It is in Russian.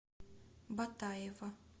батаева